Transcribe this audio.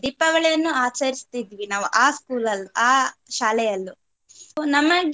ದೀಪಾವಳಿಯನ್ನು ಆಚರಿಸ್ತಿದ್ವಿ ನಾವು ಆ school ಆ ಶಾಲೆಯಲ್ಲೂ so ನಮಗೆ